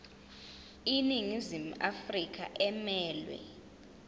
iningizimu afrika emelwe